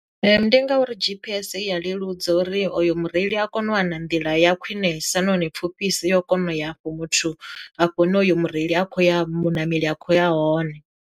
Ndi ngauri G_P_S i ya leludza uri oyo mureili a kono u wana nḓila ya khwinesa nahone pfuphisa yo kona u ya afho muthu hafho hune hoyu mureili a kho ya muṋameli a kho ya hone.